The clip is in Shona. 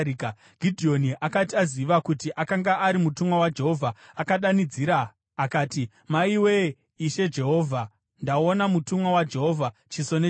Gidheoni akati aziva kuti akanga ari mutumwa waJehovha, akadanidzira akati, “Maiwe, Ishe Jehovha! Ndaona mutumwa waJehovha chiso nechiso!”